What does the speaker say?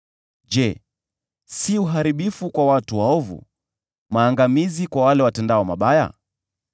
Je, si uharibifu kwa watu waovu, maangamizi kwa wale watendao mabaya?